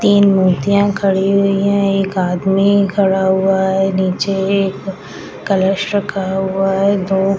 तीन मूर्तियां खड़ी हुई हैं एक आदमी खड़ा हुआ है नीचे एक कलश रखा हुआ है दो --